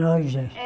Lojas? É